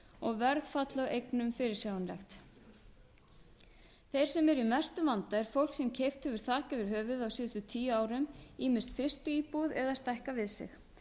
og verðfall á eignum fyrirsjáanlegt þeir sem eru í mestum vanda er fólk sem keypt hefur þak yfir höfuðið á síðustu tíu árum ýmist fyrstu íbúð eða stækkað við sig